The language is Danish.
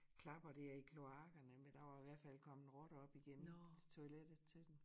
Klapper dér i kloakkerne men der var i hvert fald kommet rotter op igennem til toilettet til dem